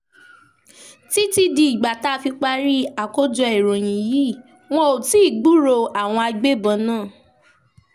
títí di ìgbà tá a fi parí àkójọ ìròyìn yìí wọn ò tí ì gbúròó àwọn agbébọn náà